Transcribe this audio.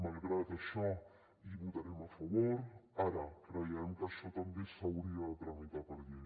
malgrat això hi votarem a favor creiem que això també s’hauria de tramitar per llei